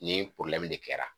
Nin de kɛra